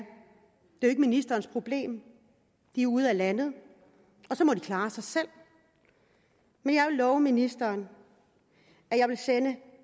jo ikke ministerens problem de er ude af landet og så må de klare sig selv men jeg vil love ministeren at jeg vil sende